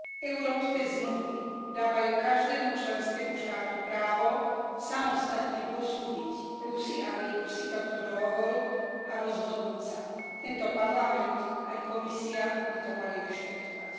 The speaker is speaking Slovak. Európske zmluvy dávajú každému členskému štátu právo samostatne posúdiť plusy a mínusy tohto dohovoru a rozhodnúť sa. Tento parlament aj Komisia by to mali rešpektovať.